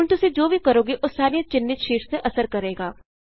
ਹੁਣ ਤੁਸੀਂ ਜੋ ਕੁਝ ਵੀ ਕਰੋਗੇ ਉਹ ਸਾਰੀਆਂ ਚਿੰਨ੍ਹਿਤ ਸ਼ੀਟਸ ਤੇ ਅਸਰ ਕਰੇਗਾ